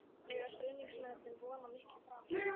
Eiga stuðningsmennirnir von á miklu frá mér?